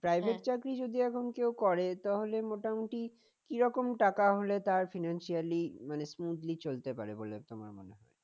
private চাকরি যদি এখন কেউ করে তাহলে মোটামুটি কি রকম টাকা হলে তার financially মানে smoothly চলতে পারে বলো তোমার মনে হয়